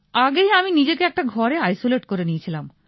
আগেই আমি নিজেকে একটা ঘরে আইসোলেট করে নিয়ে ছিলাম